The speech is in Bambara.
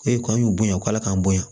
E kɔni y'u bonya u ka ala k'an bonya